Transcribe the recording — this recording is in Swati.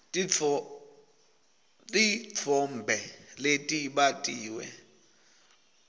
titfombe letibatiwe